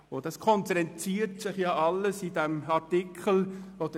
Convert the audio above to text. Das Meiste konzentriert sich in Artikel 31a.